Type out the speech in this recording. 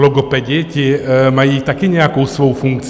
Logopedi, ti mají taky nějakou svou funkci.